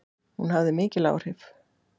Hún hafði mikil áhrif.